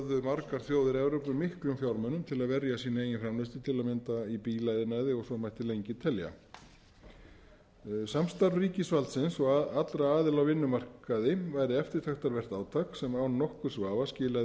vörðu þjóðir evrópu miklum fjármunum til að verja sína eigin framleiðslu til að mynda í bílaiðnaði og svo mætti lengi telja samstarf ríkisvaldsins og allra aðila á vinnumarkaði væri eftirtektarvert átak sem án nokkurs vafa skilaði